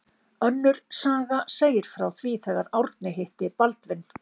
Önnur saga segir frá því þegar Árni hitti Baldvin